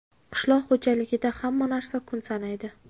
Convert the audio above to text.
Qishloq xo‘jaligida hamma narsa kun sanaydi.